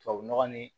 Tubabu nɔgɔ ni